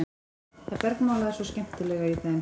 Það bergmálaði svo skemmtilega í þeim.